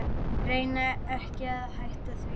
Reyni ekki að hætta því.